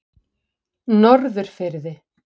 Norðurfirði